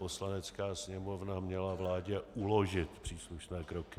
Poslanecká sněmovna měla vládě uložit příslušné kroky.